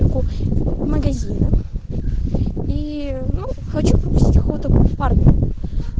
магазин и хочу купить